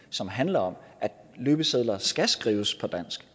som handler om at løbesedler skal skrives på dansk